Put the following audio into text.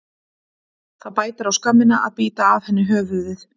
Það bætir á skömmina að bíta af henni höfuðið.